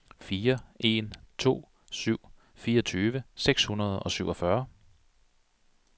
fire en to syv fireogtyve seks hundrede og syvogfyrre